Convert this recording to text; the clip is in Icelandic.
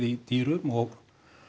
í dýrum og